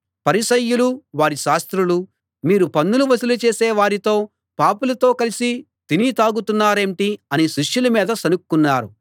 పరిసయ్యులూ వారి శాస్త్రులూ మీరు పన్నులు వసూలు చేసే వారితో పాపులతో కలిసి తిని తాగుతున్నారేంటి అని శిష్యుల మీద సణుక్కున్నారు